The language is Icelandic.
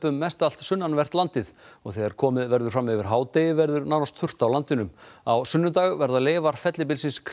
mest allt sunnanvert landið og þegar komið verður fram yfir hádegi verður nánast þurrt á landinu á sunnudag verða leifar fellibylsins